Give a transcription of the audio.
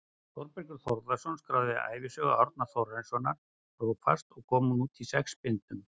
Þórbergur Þórðarson skráði ævisögu Árna Þórarinssonar prófasts og kom hún út í sex bindum.